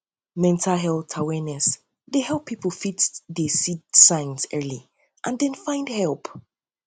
mental health awareness dey help pipo to fit see di signs early and then find help